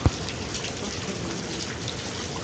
потоки любви